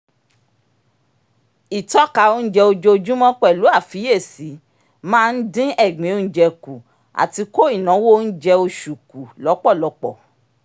ìtọ́ka onjẹ ojoojúmọ́ pẹ̀lú àfiyesi máa ń dín egbin onjẹ kù àti kó ináwó oúnjẹ oṣù kù lọ́pọ̀lọpọ̀